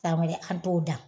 San wɛrɛ an t'o dan